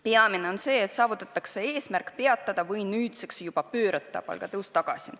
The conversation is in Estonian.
Peamine on see, et saavutatakse eesmärk peatada või nüüd juba pöörata palgatõus tagasi.